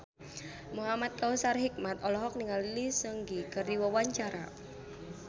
Muhamad Kautsar Hikmat olohok ningali Lee Seung Gi keur diwawancara